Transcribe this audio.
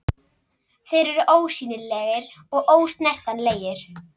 Þeir eru ósýnilegir og ósnertanlegir.